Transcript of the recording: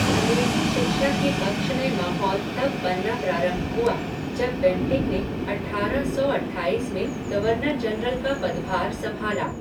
अंग्रेजी शिक्षा के पक्ष में माहौल तब बनना प्रारंभ हुआ जब बेंटिक ने अठारह सौ अट्ठाईस में गर्वनर जनरल का पदभार संभाला।